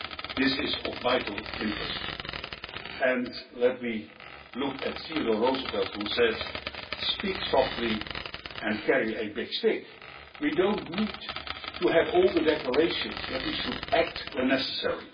This is of vital interest. Let me look to Theodore Roosevelt, who said, Speak softly and carry a big stick'. We do not need to have all the decorations but we should act when necessary.